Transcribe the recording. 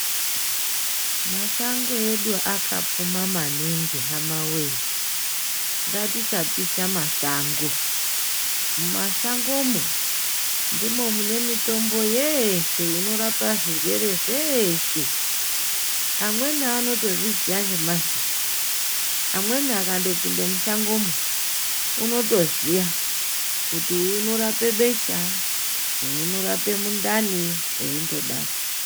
Mashango edu akapfuma maningi hamawee, ngatisapisha mashango. Mumashangomwo ndimo mune mitombo yeshe inorapa zvirwere zveeshe, amweni anotozviziya nemazita amweni angatopinda mushangomwo unotoziya kuti uyu unorape besha, uyu unorape mundani zveitodaro.